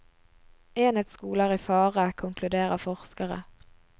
Enhetsskolen er i fare, konkluderer forskere.